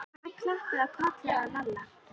Amma klappaði á kollinn á Lalla.